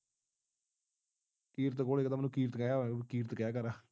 ਕਿਰਤ ਕੋਲੈ ਕਹਿੰਦਾ ਮੈਨੂੰ ਕਿਰਤ ਕਿਰਤ ਕਿਹਾ ਕਰ